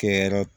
Kɛ yɔrɔ